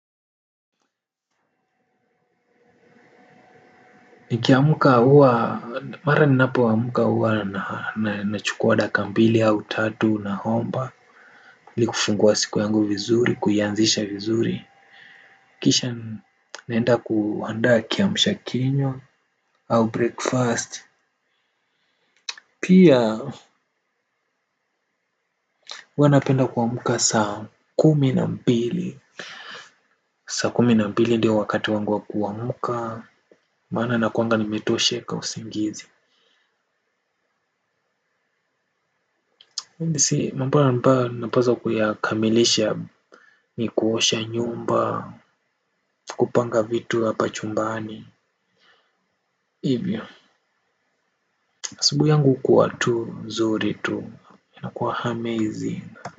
Nikiamka huwa mara ninapoamka huwa nachukua dakika mbili au tatu naomba ili kufungua siku yangu vizuri kuianzisha vizuri. Kisha naenda kuandaa kiamsha kinywa au breakfast pia huwa napenda kuamka saa kumi na mbili, saa kumi na mbili ndio wakati wangu wa kuamka maana nakuanga nimetosheka usingizi. Napaswa kuyakamilisha ni kuosha nyumba, kupanga vitu hapa chumbani. Siku yangu kuwa tu, nzuri tu, inakuwa amazing.